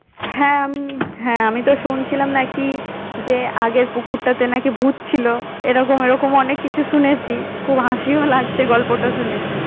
হ্যাঁ আমি হ্যাঁ আমি তো শুনছিলাম নাকি যে আগের পুকুরটাতে নাকি ভুত ছিলো এরকম এরকম অনেক কিছু শুনেছি খুব হাসিও লাগছে গল্পটা শুনে